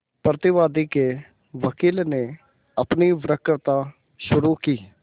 प्रतिवादी के वकील ने अपनी वक्तृता शुरु की